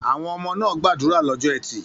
Àwọn ọmọ náà gbàdúrà lọ́jọ́ ẹtì.